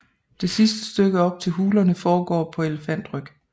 Det sidste stykke op til hulerne foregår på elefantryg